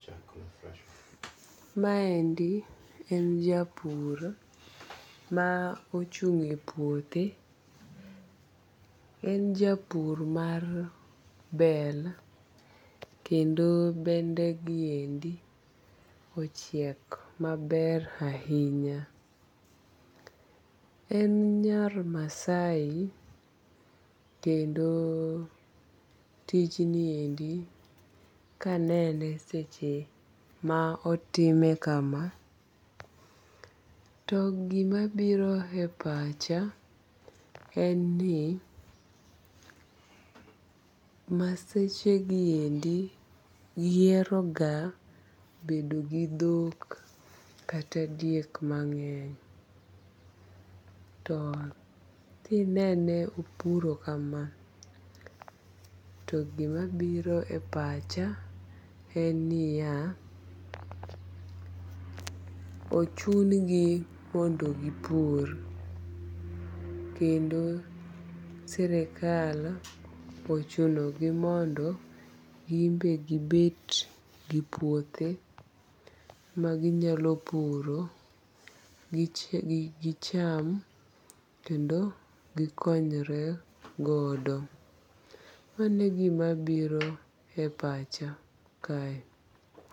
Maendi en japur ma ochung' e puothe. En japur mar bel kendo bende giendi ochiek maber ahinya. En nyar Maasai kendo tij niendi kanene seche ma otime kama to gima biro e pacha en ni Maseche giendi gihero ga bedo gi dhok kata diek mang'eny. To kinene opuro kama to gima biro e pacha en nniya, ochun gi mondo gipur kendo sirkal ochuno gi mondo gin be gibet gi puothe maginyalo puro gicham kendo gikonyre godo. Mano e gima biro e pacha kae.